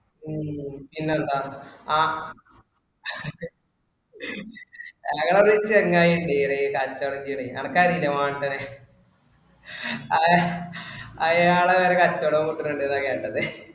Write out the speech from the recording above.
ഉം പിന്നെന്താ ആഹ് ഞങ്ങടെ ഒരു ചെങ്ങായി ഉണ്ട് ഈയിടെ കച്ചോടം ചെയ്യണെ അനക്കറിയില്ലേ മാർട്ടിനെ അയാള് വേറെ കച്ചോടം കൂട്ടുന്നുണ്ടെന്നാ കേട്ടത്